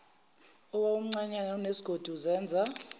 owawumncanyana unesigodi uzenza